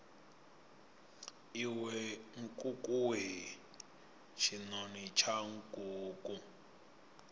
iwe nkukuwe tshinoni tsha nkuku